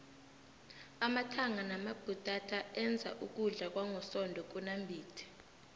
amathanga namabhutata enza ukudla kwangosondo kunambithe